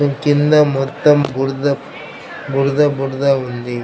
కింద మొత్తం బురద బురద బురద ఉంది.